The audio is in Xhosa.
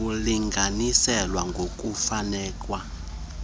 kulinganiselwa ngokokufakwa kwembono